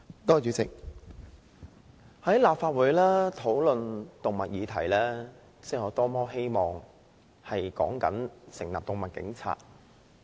代理主席，在立法會討論動物議題，我多麼希望說的是成立"動物警察"。